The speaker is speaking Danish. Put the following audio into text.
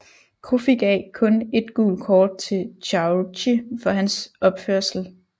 Coffi gav kun et gult kort til Chaouchi for hans opførsel